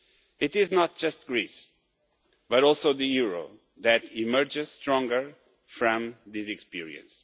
It is not just Greece but also the euro that emerges stronger from this experience.